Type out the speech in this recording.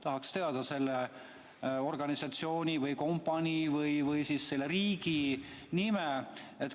Tahaks teada selle organisatsiooni või kompanii või siis selle riigi nime.